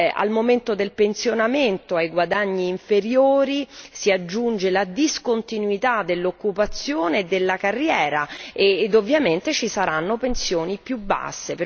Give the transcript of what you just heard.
Al momento del pensionamento, ai guadagni inferiori si aggiunge la discontinuità dell'occupazione e della carriera e ovviamente ci saranno pensioni più basse.